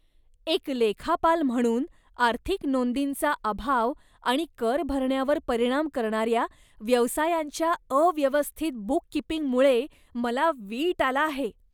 एक लेखापाल म्हणून, आर्थिक नोंदींचा अभाव आणि कर भरण्यावर परिणाम करणाऱ्या व्यवसायांच्या अव्यवस्थित बूककीपिंगमुळे मला वीट आला आहे.